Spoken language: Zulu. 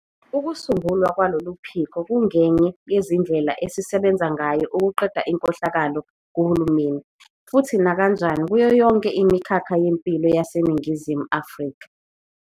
Ukusungulwa kwalolu phiko kungenye yezindlela esisebenza ngayo ukuqeda inkohlakalo kuhulumeni futhi nakanjani kuyo yonke imikhakha yempilo yaseNingizimu Afrika.